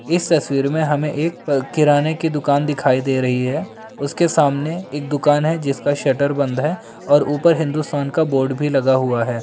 इस तस्वीर में हमें एक क किराने की दुकान दिखाई दे रही है उसके सामने एक दुकान है जिसका शटर बंद है और ऊपर हिन्दुस्तान का बोर्ड भी लगा हुआ है।